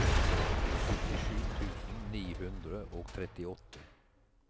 syttisju tusen ni hundre og trettiåtte